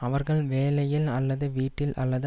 அவர்கள் வேலையில் அல்லது வீட்டில் அல்லது